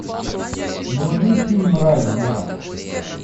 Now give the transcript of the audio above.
вруби фильм рай вера